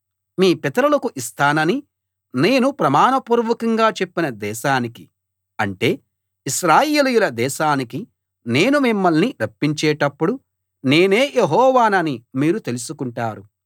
మీ పితరులకు ఇస్తానని నేను ప్రమాణపూర్వకంగా చెప్పిన దేశానికి అంటే ఇశ్రాయేలీయుల దేశానికి నేను మిమ్మల్ని రప్పించేటప్పుడు నేనే యెహోవానని మీరు తెలుసుకుంటారు